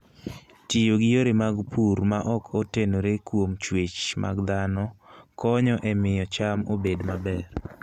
Tiyo gi yore mag pur ma ok otenore kuom chwech mag dhano konyo e miyo cham obed maber.